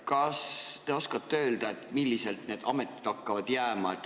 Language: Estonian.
Kas te oskate öelda, kuidas need ametid tööle hakkavad?